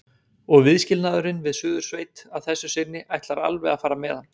Og viðskilnaðurinn við Suðursveit að þessu sinni ætlar alveg að fara með hann.